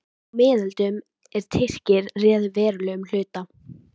Á miðöldum, er Tyrkir réðu verulegum hluta